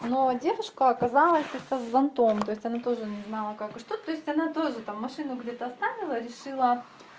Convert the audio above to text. но девушка оказалась эта с зонтом то есть она тоже не знала как и что то есть она тоже там машину где-то оставила решила